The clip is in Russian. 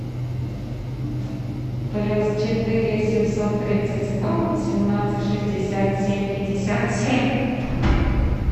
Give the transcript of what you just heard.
плюс четыре семьсот тридцать сто восемнадцать шестьдесят семь пятьдесят семь